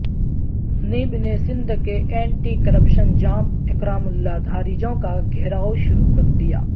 NAB نے سندھ کے anti corruption Jam Ikramullah Dharejo کا گھیرائو شروع کردیا